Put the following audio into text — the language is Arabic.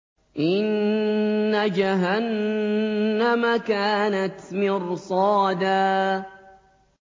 إِنَّ جَهَنَّمَ كَانَتْ مِرْصَادًا